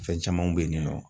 Fɛn camanw be yen ni nɔ